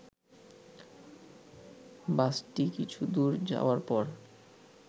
বাসটি কিছুদূর যাওয়ার পর